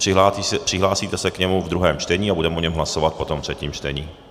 Přihlásíte se k němu ve druhém čtení a budeme o něm hlasovat potom ve třetím čtení.